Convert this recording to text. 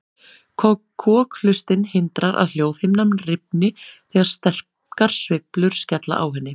Kokhlustin hindrar að hljóðhimnan rifni þegar sterkar sveiflur skella á henni.